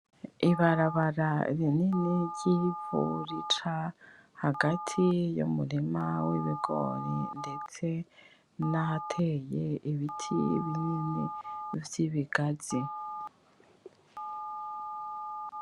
Ibarabara rinini ry'ivu rica hagati y'umurima w'ibigori ndetse n'ahateye ibiti binini vy'ibigazi.